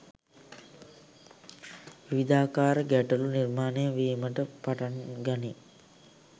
විවිධාකාර ගැටලු නිර්මාණය වීමට පටන් ගනී.